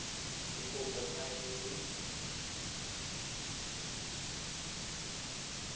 le kopo fa e le